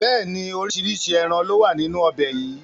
Bẹ́ẹ̀ni, oríṣiríṣi ẹran lowa nínú ọbẹ̀ yìí